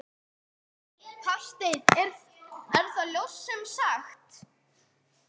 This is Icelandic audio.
Hafsteinn: Er það ljóst sem sagt?